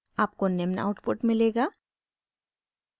आपको निम्न आउटपुट मिलेगा